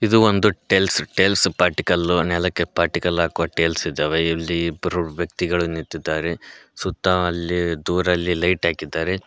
ಇದು ಒಂದು tiles tiles ಪಾಟಿಕಲ್ಲು ನೆಲಕ್ಕೆ ಪಾಟಿಕಲ್ಲು ಹಾಕುವ ಟೇಲ್ಸ್ ಇದಾವೆ ಇಲ್ಲಿ ಇಬ್ಬರು ವ್ಯಕ್ತಿಗಳು ನಿಂತಿದ್ದಾರೆ ಸುತ್ತ ಅಲ್ಲಿ ದೂರಲಿ ಲೈಟ್ ಹಾಕಿದ್ದಾರೆ.